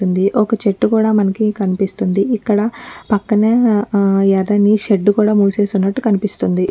ఉందీ ఒక చెట్టుకుడా మనకి మనిపిస్తుంది ఇక్కడ పక్కనే ఎర్రని షేడ్ కూడా మూసేసిఉన్నటు కనిపిస్తుంది.